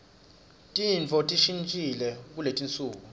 tintfo tishintjile kuletinsuku